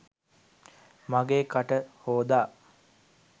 මගේ කට හොදා